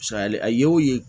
Misaliya a ye o ye